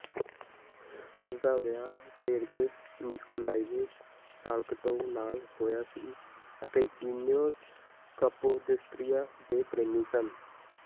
ਉਸ ਦਾ ਵਿਆਹ ਸੇਰਗੇਜ ਨਿਕੋਲਾਏਵਿਚ ਸਾਲਟਿਕੋਵ ਨਾਲ ਹੋਇਆ ਸੀ ਅਤੇ ਈਓਨਿਸ ਕਪੋਦਿਸਟਰੀਆ ਦੇ ਪ੍ਰੇਮੀ ਸਨ